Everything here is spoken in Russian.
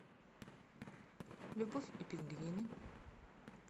любовь и пингвины